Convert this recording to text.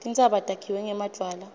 tintsaba takhiwe ngemadvwala